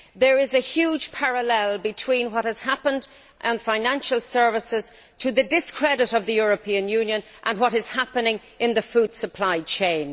There is a huge parallel between what has happened in financial services to the discredit of the European Union and what is happening in the food supply chain.